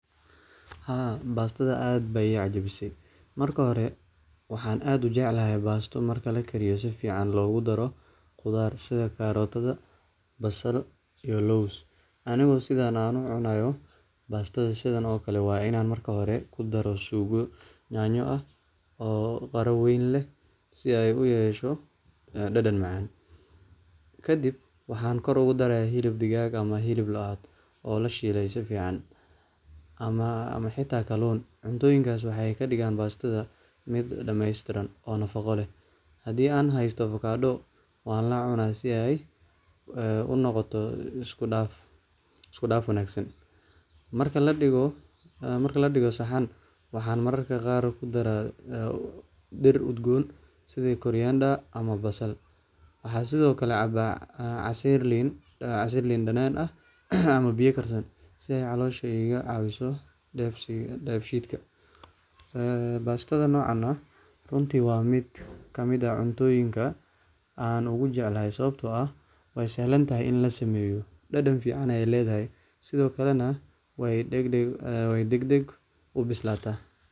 Haa bastathabaad Aya I cajabisay marki hori waxan aad u jeclahay basto marki lakariyoh sufican lagu daroh, quthar sib carrot basal iyo loos Anika setha AA u cunayo bastatha sethan oo Kali waye Ina marki hori kidaroh sugo nyanyo, oo beeri weeyn leh si u yeshoh dadan macan kadib waxa kor ugu daraya helib degaga aah amah helib looh caadi oo lashelay sifaican. Amah xata kalon cuntoyinkas waxakadigan bastathan mid dameystiran oo nafaqa leeh handi an haystoh avocadooh wa cunah si ay unoqotoh iskudaf wanagsan marka ladigoh saxan waxan maraga Qaar kidarah dheer udgoon sitha barayenda amah basal waxa sethokali cabah saireyn danana ah amah setha caloshÃ iga cawesoh dhabshitka, bastatha nocan aah runti wa mitkamit aah cuntoyinga an ugu jeclahay sawabta oo eeh waysahlantahay ini lasameeyoh dadan ficana Aya leedahay sethokali way dedek bislatah.